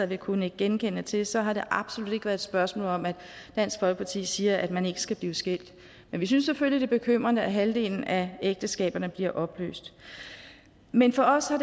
vil kunne nikke genkendende til så har det absolut ikke været et spørgsmål om at dansk folkeparti siger at man ikke skal blive skilt men vi synes selvfølgelig bekymrende at halvdelen af ægteskaberne bliver opløst men for os har